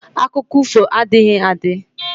Akụkọ ifo adịghị adị